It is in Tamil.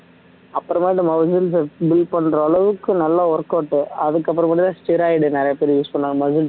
அப்பறமா இந்த muscles அ built பண்ற அளவுக்கு நல்ல workout அதுக்கு அப்பறம் பார்த்தீங்கன்னா steroid நிறைய பேர் use பண்ணுவாங்க muscles